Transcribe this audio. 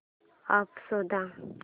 app शोध